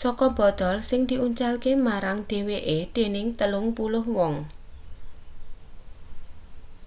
saka botol sing diuncalake marang dheweke dening telung puluh wong